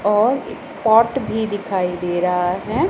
और ये पॉट भी दिखाई दे रहा है।